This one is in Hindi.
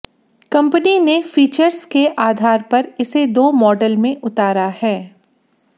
कंपनी ने फीचर्स के आधार पर इसे दो मॉडल में उतारा है